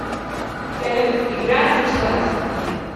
салют игра началась